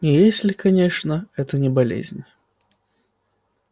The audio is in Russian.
если конечно это не болезнь